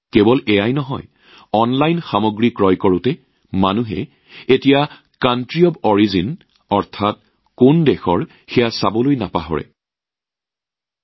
কেৱল সেয়াই নহয় আজিকালি মানুহে অনলাইনত সামগ্ৰী ক্ৰয় কৰাৰ সময়ত সামগ্ৰী উৎপাদনকাৰী দেশখন পৰীক্ষা কৰিবলৈ নাপাহৰিব